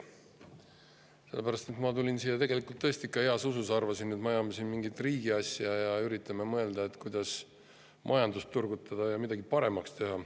Sellepärast, et ma tulin siia tõesti ikka heas usus, arvasin, et me ajame siin mingit riigi asja ja üritame mõelda, kuidas majandust turgutada ja midagi paremaks teha.